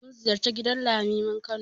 Mun ziyarci gidan Limamin Kano.